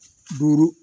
Duuru